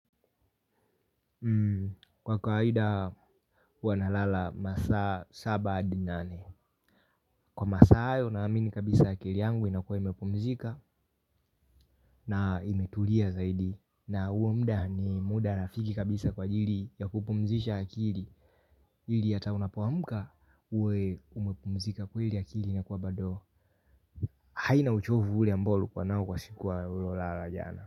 Kwa kawaida hua nalala masaa saba hadi nane, kwa masa hayo naamini kabisa akili yangu inakuwa imepumzika na imetulia zaidi. Na huo muda ni muda rafiki kabisa kwa ajili ya kupumzisha akili. Ili hata unapoamuka uwe umepumzika kweili akili na kwa bado haina uchovu ule ambao ulikua nao kwa siku la jana.